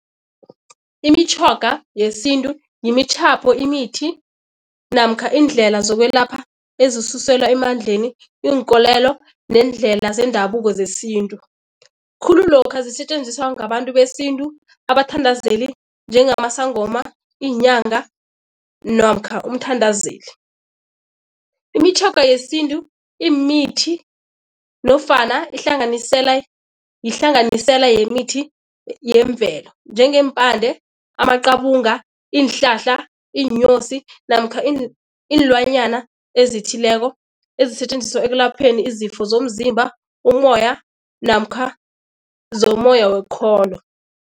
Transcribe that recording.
Imitjhoga yesintu, yimitjhapho, imithi namkha iindlela zokwelapha ezisuselwa emandleni, iinkolelo neendlela zendabuko zesintu. Khulu lokha zisetjenziswa ngabantu besintu, abathandazeli njengamasangoma, iinyanga namkha umthandazeli. Imitjhoga yesintu immithi nofana ihlanganisela, yihlanganisela yemithi yemvelo. Njengeempande, amaqabunga, iinhlahla, iinyosi namkha iinlwanyana ezithileko ezisetjenziswa ekulapheni izifo zomzimba, umoya namkha zomoya wokukholwa.